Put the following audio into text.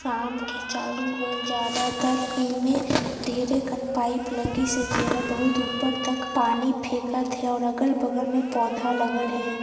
शाम के चालू होल ज्यादा तर एमे ढेरे कन पाइप लगी से जे हा बहुत ऊपर तक पानी फेकत हे और अगल बगल मे पौधा लगल हे।